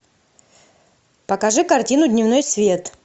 покажи картину дневной свет